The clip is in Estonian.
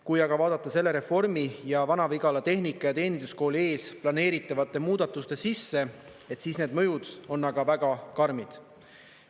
Kui aga vaadata selle reformi ja Vana-Vigala Tehnika- ja Teeninduskooli ees planeeritavate muudatuste sisse, siis need mõjud on aga väga karmid.